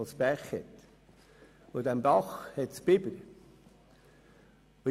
In Seedorf hat es einen Bach, in diesem leben Biber.